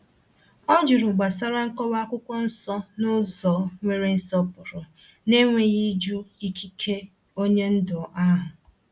O jụrụ gbasara nkọwa akwụkwọ nsọ n’ụzọ nwere nsọpụrụ, na-enweghị ịjụ ikike onye ndu ahụ.